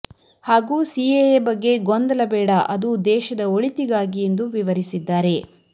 ಹಾಗೂ ಸಿಎಎ ಬಗ್ಗೆ ಗೊಂದಲ ಬೇಡ ಅದು ದೇಶದ ಒಳಿತಿಗಾಗಿ ಎಂದು ವಿವರಿಸಿದ್ದಾರೆ